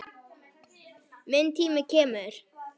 Minn tími kemur.